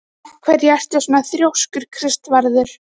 Af hverju ertu svona þrjóskur, Kristvarður?